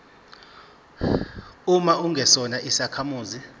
uma ungesona isakhamuzi